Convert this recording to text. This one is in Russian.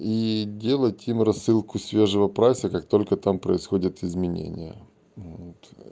и делать им рассылку свежего прайса как только там происходят изменения вот